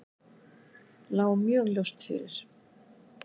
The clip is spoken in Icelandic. Lá mjög ljóst fyrir.